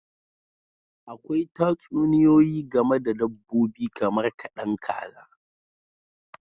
Akwai Tatsuniyoyi game da dabbobi kamar kadan kaza